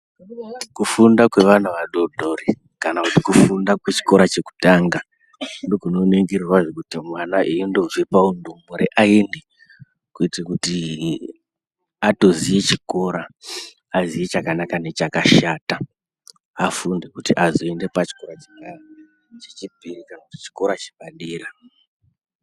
Kufunda kwevana vadodori kana kuti kufunda kwechikora chekutanga ndokunoningirwa kuti mwana eindobva paundumure aende kuite kuti atoziye chikora aziye chakanaka nechakashata afunde kuti azoenda pachikora chechipiri kana kuti chikora chepadera.